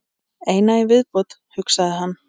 Eina í viðbót, hugsaði hann.